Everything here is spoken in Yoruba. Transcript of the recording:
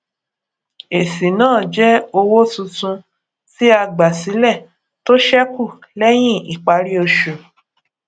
èsì náà jẹ owó tuntun tí a gbà sílẹ tó sẹkù lẹyìn ìparí oṣù